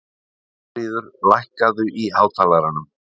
Þuríður, lækkaðu í hátalaranum.